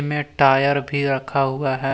Tyre भी रखा हुआ है।